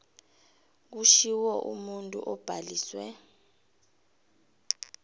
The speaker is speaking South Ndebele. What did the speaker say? kushiwo umuntu obhaliswe